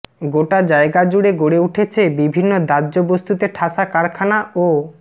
গোটা জায়গা জুড়ে গড়ে উঠেছে বিভিন্ন দাহ্য বস্তুতে ঠাসা কারখানা ও